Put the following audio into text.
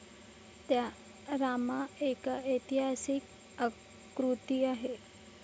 त्या रामा एका ऐतिहासीक आकृती आय.